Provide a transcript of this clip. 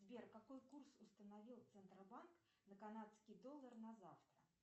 сбер какой курс установил центробанк на канадский доллар на завтра